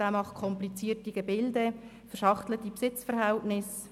Er konstruiert komplizierte Gebilde, wie verschachtelte Besitzverhältnisse.